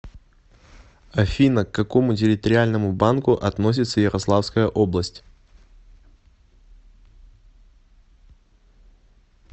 афина к какому территориальному банку относится ярославская область